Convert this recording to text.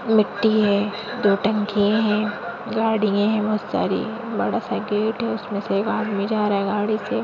मिट्टी है दो टंकी है गाड़ी है बहुत सारी बडासा गेट है उसमे से एक आदमी जा रहा है गाड़ी से।